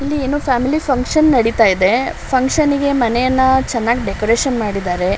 ಇಲ್ಲಿ family function ನಡೀತಾ ಇದೆ. ಫನ್ಕ್ಷನ್ ಗೆ ಮನೆಯೆಲ್ಲ ಡೆಕೋರೇಷನ್ ಮಾಡಿದಾರೆ.